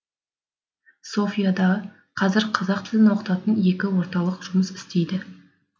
софияда қазір қазақ тілін оқытатын екі орталық жұмыс істейді